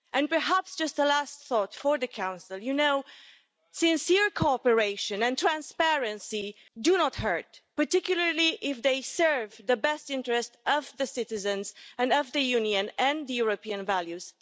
Perhaps just a last thought for the Council you know, sincere cooperation and transparency do not hurt, particularly if they serve the best interests of the citizens and of the Union and European values.